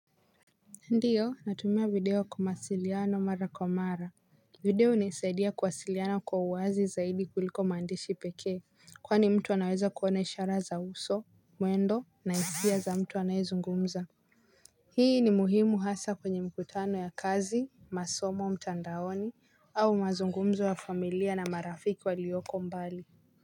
Ndiyo natumia video kwa masiliano marakwamara. Video hunisaidia kuwasiliano kwa uwazi zaidi kuliko mandishi pekee. Kwani mtu anaweza kuone ishara za uso, muendo, na hisia za mtu anayezungumza. Hii ni muhimu hasa kwenye mkutano ya kazi, masomo, mtandaoni, au mazungumzo ya familia na marafiki walioko mbali.